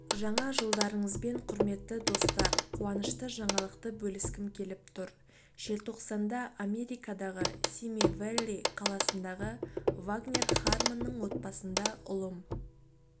жаңа жылдарыңызбен құрметті достар қуанышты жаңалықты бөліскім келіп тұр желтоқсанда америкадағы сими-вэлли қаласындағывагнер хармонның отбасында ұлым